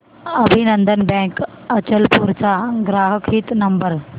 अभिनंदन बँक अचलपूर चा ग्राहक हित नंबर